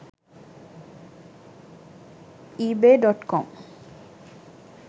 ebay.com